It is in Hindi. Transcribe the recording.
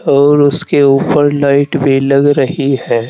और उसके ऊपर लाइट भी लग रही है।